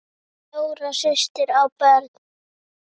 Dóra systir og börn.